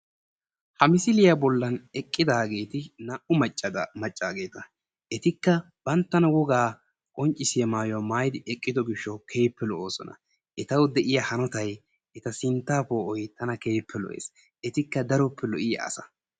ha misiliyaa bollan eqidaageti naa''u maccaageta etika banttana wogaa qonccisiyaa mayiyuwaa maayidi eqido gishaw keehippe lo'oosona. etawu de'iyaa hanottay eta sinttaa poo'oy tana keehippe loo'ees. etikka daroppe lo'iyaa aasa.